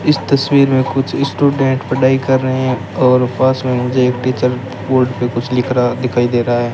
इस तस्वीर में कुछ स्टूडेंट पढ़ाई कर रहे हैं और पास में मुझे एक टीचर बोर्ड पे कुछ लिख रहा दिखाई दे रहा है।